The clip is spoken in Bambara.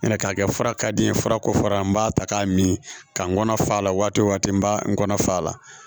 Nga k'a kɛ fara ka di n ye farako fara n b'a ta k'a min ka n kɔnɔ fa la waati wo waati n b'a n kɔnɔ fa la